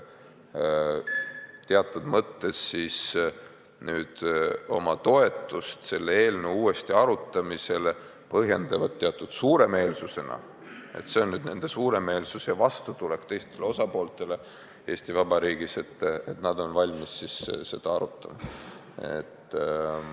Teatud mõttes paistab nende toetus selle seaduse uuesti arutamisele suuremeelsusena – see on nüüd nende vastutulek teistele osapooltele Eesti Vabariigis, et nad on valmis seda uuesti arutama.